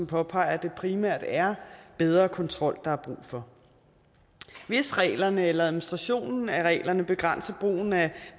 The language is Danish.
påpeger at det primært er bedre kontrol der er brug for hvis reglerne eller administrationen af reglerne begrænser brugen af